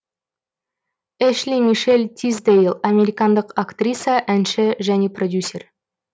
эшли мишель тисдейл американдық актриса әнші және продюсер